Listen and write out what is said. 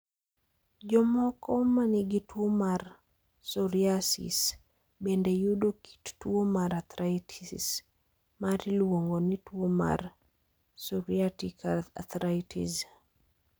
Jomoko ma nigi tuwo mar psoriasis bende yudo kit tuwo mar arthritis ma iluongo ni tuwo mar psoriatic arthritis.